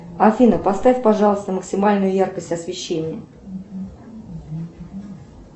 афина поставь пожалуйста максимальную яркость освещения